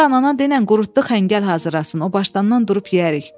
Onda anana denən qurutdu xəngəl hazırlasın, o başdan durub yeyərik.